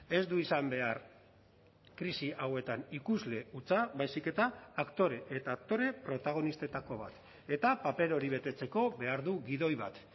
ez du izan behar krisi hauetan ikusle hutsa baizik eta aktore eta aktore protagonistetako bat eta paper hori betetzeko behar du gidoi bat